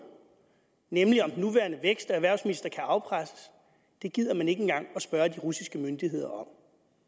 nemlig om den nuværende vækst og erhvervsminister kan afpresses gider man ikke engang at spørge de russiske myndigheder om